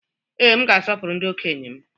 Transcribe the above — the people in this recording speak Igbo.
Ee, m ga-asọpụrụ ndị okenye m.